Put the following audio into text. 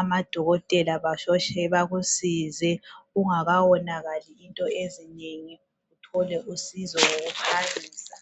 Amadokotela basheshe bakusize kungakawonakali into ezinengi. Uthole usizo ngokuphangisa.